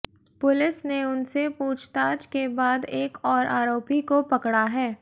police ने उनसे पूछताछ के बाद एक और आरोपी को पकड़ा है